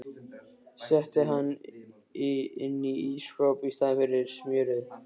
Setti hann inn í ísskáp í staðinn fyrir smjörið.